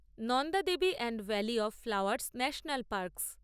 Nanda Devi and valley of flowers national parks